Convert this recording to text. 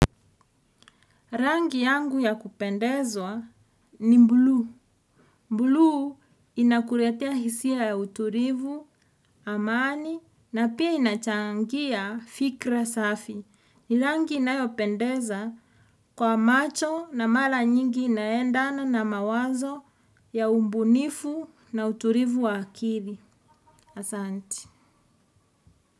Rangi yangu ya kupendezwa, ni mblu. Mbulu inakuretea hisia ya uturivu, amani, na pia inachangia, fikra safi. Ni rangi inayopendeza, kwa macho na mala nyingi inaendana na mawazo ya umbunifu na uturivu wa akili. Asanti.